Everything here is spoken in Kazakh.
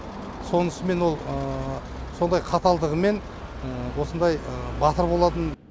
сонысымен ол сондай қаталдығымен осындай батыр болатын